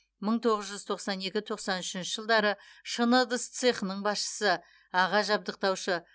мың тоғыз жүз тоқсан екі тоқсан үшінші жылдары шыны ыдыс цехының басшысы аға жабдықтаушы